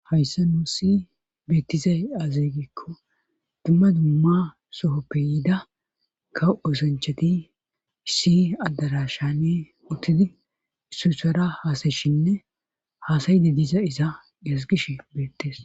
Hayssa nuu si beettizay azeegikko dumma dumma sohoppe yida kaw osanchati si addarashane uttidi issusara haasayshinne haasayidi diza isa esgish beettes